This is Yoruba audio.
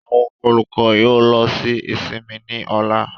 Àwọn olukọ yoo lọ si isinmi ni ọla.